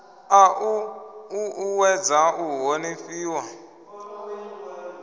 a u uuwedza u honifhiwa